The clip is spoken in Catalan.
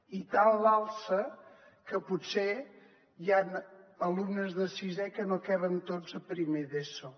i tant a l’alça que potser hi han alumnes de sisè que no hi caben tots a primer d’eso